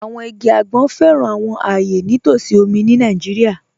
Àwọn igi agbọn fẹ́ran àwọn ayé ní t'ọsí omi ni Naijíríà.